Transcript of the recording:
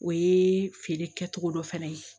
O ye feere kɛcogo dɔ fɛnɛ ye